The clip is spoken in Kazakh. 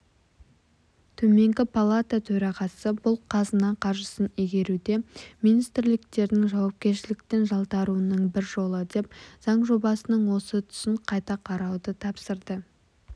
төменгі палата төрағасы бұл қазына қаржысын игеруде министрліктердің жауапкершіліктен жалтаруының бір жолы деп заң жобасының осы тұсын қайта қарауды тапсырды